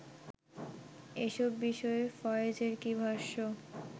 এসব বিষয়ে ফয়েজের কী ভাষ্য